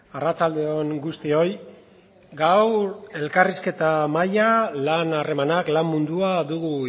arratsalde on guztioi gaur elkarrizketa mahaia lan harremanak lan mundua dugu